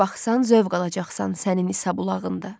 Hara baxsan zövq alacaqsan sənin isabulağında.